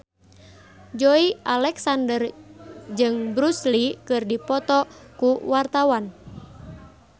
Joey Alexander jeung Bruce Lee keur dipoto ku wartawan